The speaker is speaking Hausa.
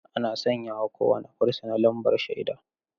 Ana sanya wa kowane fursuna lambar shaida.